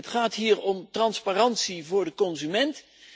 Het gaat hier om transparantie voor de consument.